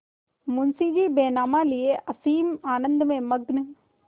मुंशीजी बैनामा लिये असीम आनंद में मग्न